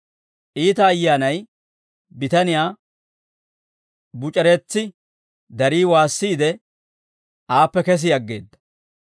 Iita ayyaanay bitaniyaa buc'ereetsi, darii waasissiide, aappe kesi aggeedda.